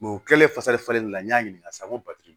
u kilalen fasa falen na n y'a ɲininka sisan n ko